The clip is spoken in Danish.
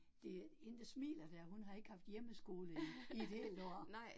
Det, hende, der smiler dér, hun har ikke haft hjemmeskole i et helt år